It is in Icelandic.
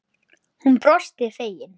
Hún brosti fegin.